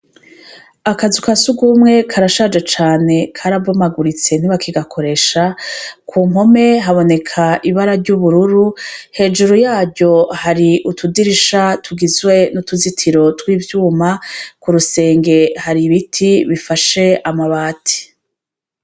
Akazu ka sugumwe karashaje cane karabomaguritse ntibakigakoresha, ku mpome haboneka ibara ry'ubururu hejuru yaryo hari utudirisha tugizwe n'utuzitiro tw'ivyuma ku rusenge hari ibiti bifashe amabati.